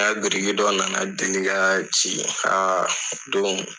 biriki dɔ na na